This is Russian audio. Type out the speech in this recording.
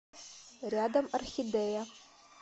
рядом орхидея